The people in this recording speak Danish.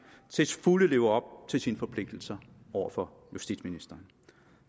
til fulde lever op til sine forpligtelser over for justitsministeren